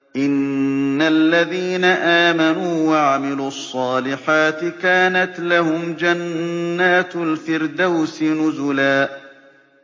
إِنَّ الَّذِينَ آمَنُوا وَعَمِلُوا الصَّالِحَاتِ كَانَتْ لَهُمْ جَنَّاتُ الْفِرْدَوْسِ نُزُلًا